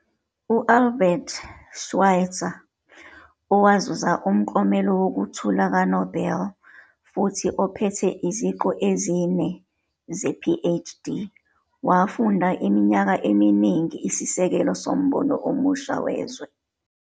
U-Albert Schweitzer, owazuza uMklomelo Wokuthula KaNobel futhi ophethe iziqu ezine ze-PhD, wafuna iminyaka eminingi isisekelo sombono omusha wezwe.